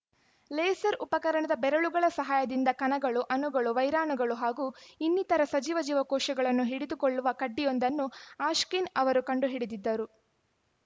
laser ಉಪಕರಣದ ಬೆರಳುಗಳ ಸಹಾಯದಿಂದ ಕಣಗಳು ಅಣುಗಳು ವೈರಾಣುಗಳು ಹಾಗೂ ಇನ್ನಿತರ ಸಜೀವ ಜೀವಕೋಶಗಳನ್ನು ಹಿಡಿದುಕೊಳ್ಳುವ ಕಡ್ಡಿಯೊಂದನ್ನು ಆಶ್ಕಿನ್‌ ಅವರು ಕಂಡುಹಿಡಿದಿದ್ದರು